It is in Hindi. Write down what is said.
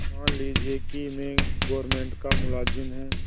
मान लीजिए कि मैं गवर्नमेंट का मुलाजिम हूँ